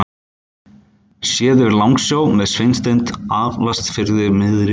Séð yfir Langasjó með Sveinstind aftast fyrir miðri mynd.